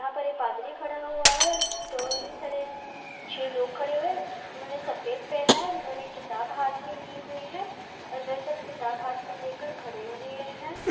यहाँ पर ये पादरी खड़ा हुआ है और कई सारे छे लोग खड़े हुए हैं। उन्होंने सफेद पहना है और उन्होंने किताब हाथ में ली हुई है और वे सब किताब हाथ में लेकर खड़े हुए हैं।